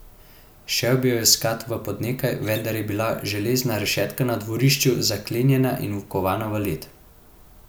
Šel bi jo iskat v Podnekaj, vendar je bila železna rešetka na dvorišču zaklenjena in vkovana v led.